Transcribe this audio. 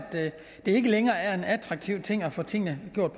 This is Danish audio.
det ikke længere er attraktivt at få tingene gjort